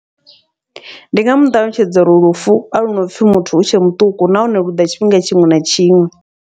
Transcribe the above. Ndi nga muṱalutshedza uri lufu ahuna upfhi muthu utshe muṱuku, nahone lu ḓa tshifhinga tshiṅwe na tshiṅwe.